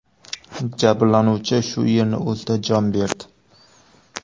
Jabrlanuvchi shu yerning o‘zida jon berdi.